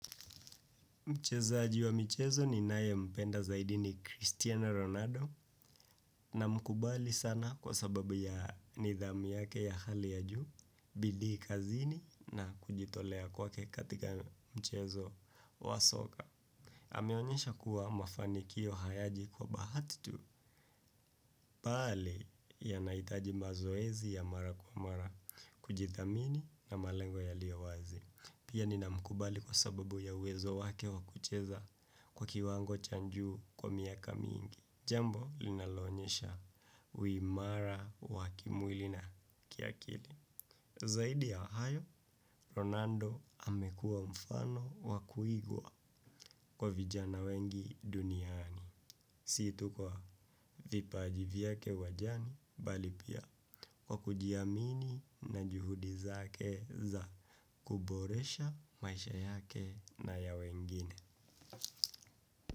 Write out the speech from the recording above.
Mchezaji wa mchezo ni nayempenda zaidi ni Cristiano Ronaldo namkubali sana kwa sababu ya nidhamu yake ya hali ya juu, bidii kazini na kujitolea kwake katika mchezo wa soka. Ameonyesha kuwa mafanikio hayaji kwa bahati tu, bali yanahitaji mazoezi ya mara kwa mara kujithamini na malengo yaliowazi. Pia nina mkubali kwa sababu ya uwezo wake wakucheza kwa kiwango cha juu kwa miaka mingi. Jambo linaloonyesha uimara wakimwili na kiakili. Zaidi ya hayo, Ronando amekuwa mfano wakuigwa kwa vijana wengi duniani. Si tu kwa vipajivyake uwanjani bali pia kwa kujiamini na juhudizake za kuboresha maisha yake na ya wengine.